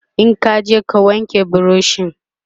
in kaje ka wanke burushin!